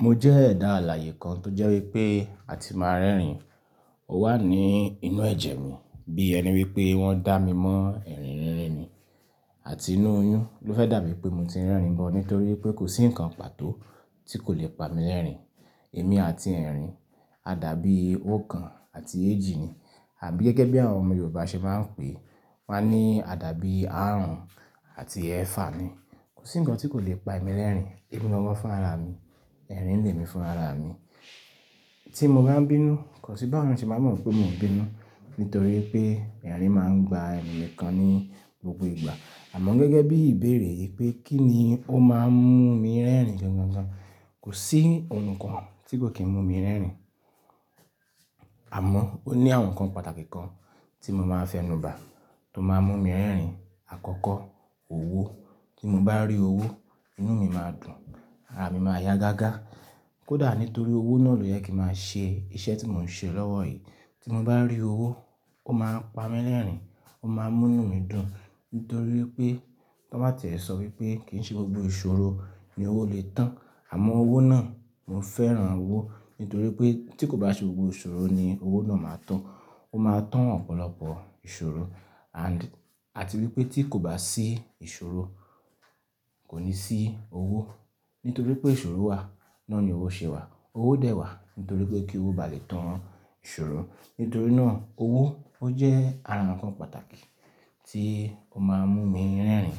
Mo jẹ́ ẹ̀dá àlàyé kan tó jẹ́ wípé a ti máa ń rẹ́rìn. Ó wà ní inú ẹ̀jẹ̀ mi bí ẹni wípé wọ́n dá mi mọ́ ẹ̀rín rìnrìn ni àti inú oyún ló fẹ́ dà mí pé mo ti ń rẹ́rìn gbọ́n nítorí pé kò sí nǹkan pàtó tí kò le pa mi lẹ́rìn-ín. Èmi àti ẹ̀rín, a dàbí òòkan àti ééjì ni àbí gẹ́gẹ́ bí àwọn ọmọ Yorùbá ṣe máa ń pèé, wọ́n á ní a dàbí àrùn àti ẹẹ́fà ni. Kò sí nǹkan tí kò le pa èmi lẹ́rìn-ín. Èmi gángan fún ara mi, ẹ̀rín lè mi fún ara mi. Tí mo bá ń bínú, kò sí báwo èèyàn ṣe máa mọ̀ pé mo ń bínú nítorí pé ẹ̀rín máa ń gba ẹnu mi gan ní gbogbo ìgbà. Àmọ́ gẹ́gẹ́ bí ìbéèrè yìí pé kí ni ó máa ń mú mi rẹ́rìn gan gan gan, kò sí ohun kan tí kò kí ń mú mi rẹ́rìn. Àmọ́ ó ní àwọn nǹkan pàtàkì kan tí mo máa fẹ́ nu ba, tó máa ń mú mi rẹ́rìn. Àkọ́kọ́, owó. Tí mo bá rí owó, inú mi máa dùn, ara mi máa yá gágá. Kódà nítorí owó náà ló jẹ kí máa ṣe iṣẹ́ tí mò ń ṣe lọ́wọ́ yìí. Tí mo bá rí owó, ó máa ń pa mi lẹ́rìn-ín, ó máa ń mú inú mi dùn nítorí pé, tọn máa tẹ̀ ẹ sọ wípé kì í ṣe gbogbo ìṣòro ni owó lè tán àmọ́ owó náà, mo fẹ́ràn owó nítorí pé tí kò bá ṣe gbogbo ìṣòro ni owó náà máa tán, ó máa ń tán ọ̀pọ̀lọpọ̀ ìṣòro. And, àti wípé tí kò bá sí ìṣòro kò ní sí owó. Nítorí pé ìṣòro wà, náà ni owó ṣe wà. Owó dẹ̀ wà nítorí pé kí owó ba lè tán ìṣòro. Nítorí náà owó ó jẹ́ ara nǹkan pàtàkì tí ó máa ń mú mi rẹ́rìn.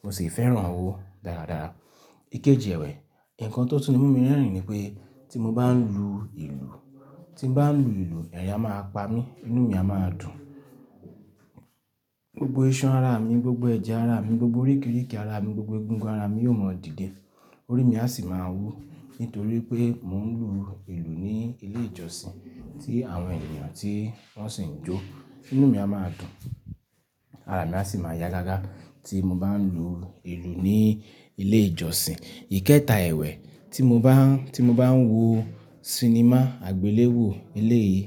Mo sì fẹ́ràn owó dáradára. Ìkejì ẹ̀wẹ̀, nǹkan tó tún mú mi rẹ́rìn ni pé tí mo bá ń lu ìlù, tí mo bá ń lu ìlù, ẹ̀rín á máa pa mí, inú mi a máa dùn. Gbogbo iṣan ara mi, gbogbo ẹ̀jẹ̀ ara mi, gbogbo oríkirìkì ara mi, gbogbo egungun ara mi yóò mọ́ dìde. Orí mi a sì máa wú nítorí pé mò ń lu ìlù ní ilé ìjọsìn tí àwọn ènìyàn tí wọ́n sì ń jó. Inú mi a máa dùn, ara mi a sì máa yá gágá tí mo bá ń lu ìlù ní ilé ìjọsìn. Ìkẹta ẹ̀wẹ̀, tí mo bá ń, tí mo bá ń wo sinimá àgbéléwò eléyìí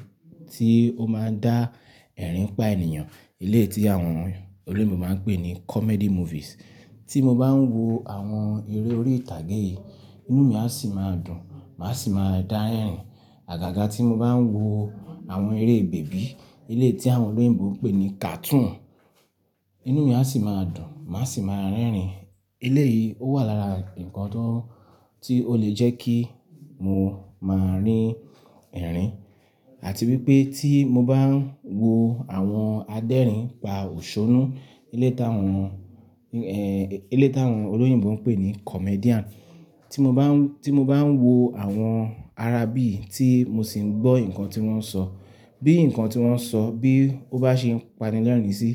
tí ó máa ń dá ẹ̀rín pa ènìyàn, eléyìí tí àwọn olóyìnbo máa ń pè ní comedy movies. Tí mo bá ń wo àwọn eré orí ìtàgé yìí, inú mi a sì máa dùn, màá sì máa dá ẹ̀rín. Àgàgà tí mo bá ń wo àwọn eré bèbí, ilé tí àwọn olóyìnbo ń pè ní cartoon, inú mi a sì máa dùn, màá sì máa rẹ́rìn. Ilé yìí ó wà lára nǹkan tó, tí ó lè jẹ́ kí mo máa rín ẹ̀rín. Àti wípé tí mo bá ń wo àwọn adẹ́rìn pa òṣónú, eléyìí táwọn, eeh, eléyìí táwọn olóyìnbo ń pè ní comedian. Tí mo bá ń, tí mo bá ń wo àwọn ara bí, tí mo sì ń gbọ́ nǹkan tí wọ́n ń sọ, bí nǹkan tí wọ́n ń sọ bí ó bá ṣe ń pani lẹ́rìn-ín sí,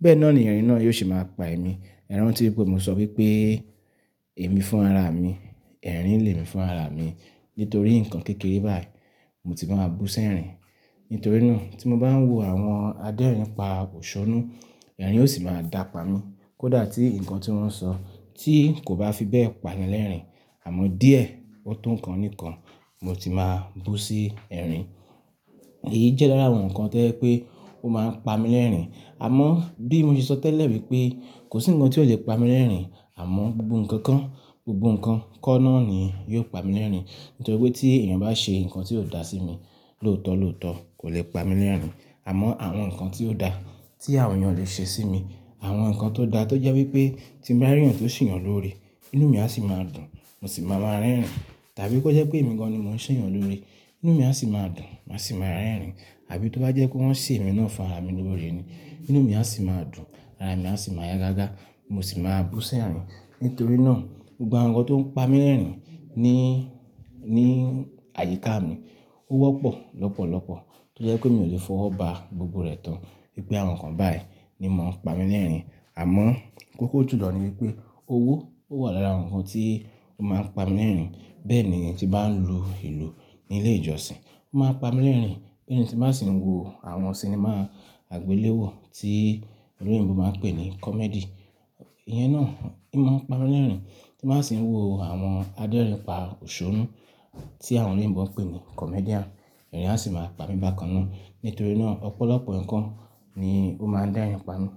bẹ́ẹ̀ náà ni ẹ̀rín náà yóò sì máa pa èmi. Ẹ̀rántí pé mo sọ wípé èmi fún ara mi, ẹ̀rín le mi fún ara mi. Nítorí nǹkan kékeré báyìí mo ti máa bú sí ẹ̀rín. Nítorí náà tí mo bá ń wo àwọn adẹ́rìn pa òṣónú, ẹ̀rín ó sì máa dàpa mi. Kódà tí nǹkan tí wọ́n ń sọ tí kò bá fi bẹ́ẹ̀ pani lẹ́rìn-ín àmọ́ díẹ̀, ó tó nǹkan oníkan, mo ti máa bú sí ẹ̀rín. Èyí jẹ́ lára àwọn nǹkan tẹ́lẹ̀ wípé ó máa ń pa mi lẹ́rìn-ín. Àmọ́ bí mo ṣe sọ tẹ́lẹ̀ wípé kò sí nǹkan tí ó lè pa mi lẹ́rìn-ín àmọ́ gbogbo nǹkan kan, gbogbo nǹkan kọ́ náà ni yóò pa mi lẹ́rìn-ín. Nítorí pé tí ènìyàn bá ṣe nǹkan tí ó dà sí mi, lóòótọ́ lóòótọ́ kò le pa mi lẹ́rìn-ín. Àmọ́ àwọn nǹkan tí ó dà tí àwọn ènìyàn le ṣe sí mi, àwọn nǹkan tó dà tó jẹ́ wípé tí mo bá rí ènìyàn tó sì yàn lóó ọ̀rẹ́, inú mi a sì máa dùn, mo sì máa ma rẹ́rìn. Tàbí kó jẹ́ pé èmi gan-an ni mò ń ṣe ènìyàn lóo oré, inú mi a sì máa dùn, màá sì máa rẹ́rìn. Àbí tó bá jẹ́ kó wọn ṣe èmi náà fún ara mi lóó ọ̀rẹ́ ni, inú mi a sì máa dùn, ara mi a sì máa yá gágá, mo sì máa bú sí ẹ̀rín. Nítorí náà gbogbo àwọn nǹkan tó ń pa mi lẹ́rìn-ín ní, ní àyíká mi ó wọ́pọ̀ lọ́pọ̀lọpọ̀ tó jẹ́ pé mi ò lè fọwọ́ ba gbogbo rẹ̀ tán wípé àwọn nǹkan báyìí ni mo ń pa mi lẹ́rìn-ín. Àmọ́ kókó tùlọ̀ ni wípé owó ó wà lára àwọn nǹkan tí ó máa ń pa mi lẹ́rìn-ín. Bẹ́ẹ̀ ni ìyẹn tí bá ń lu ìlù ní ilé ìjọsìn ó máa ń pa mi lẹ́rìn-ín. Gẹ́gẹ́ bí mo bá sì ń wo àwọn sinimá àgbéléwò tí olóyìnbo máa ń pè ní comedy. Ìyẹn náà, inú máa ń pa mi lẹ́rìn-ín. Tí màá sì ń wo àwọn adẹ́rìn pa òṣónú tí àwọn olóyìnbo ń pè ní comedian, ẹ̀rìn á sì máa pa mi bákan náà. Nítorí náà ọ̀pọ̀lọpọ̀ nǹkan ni ó máa ń dá ẹ̀rìn pami.